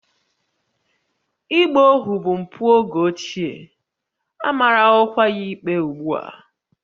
Ịgba ohu bụ mpụ oge ochie, a marawokwa ya ikpe ugbu a